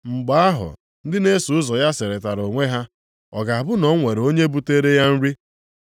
Mgbe ahụ ndị na-eso ụzọ ya sịrịtara onwe ha, “Ọ ga-abụ na o nwere onye butere ya nri?”